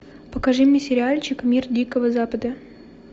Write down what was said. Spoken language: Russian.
покажи мне сериальчик мир дикого запада